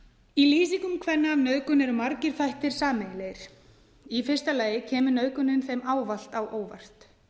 í lýsingum kvenna af nauðgun eru margir þættir sameiginlegir í fyrsta lagi kemur nauðgunin þeim ávallt á óvart